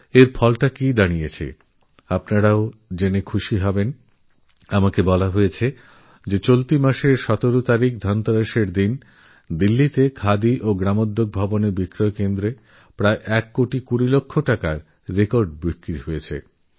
আর তার পরিণাম কী হয়েছে আপনারাও এটা জেনে খুশিহবেন আমাকে জানানো হয়েছে যে এই মাসের ১৭ই অক্টোবর ধনতেরাসের দিন দিল্লির খাদিগ্রামোদ্যোগ ভবন স্টোরে প্রায় এক কোটি বিশ লক্ষ টাকার রেকর্ড বিক্রি হয়েছে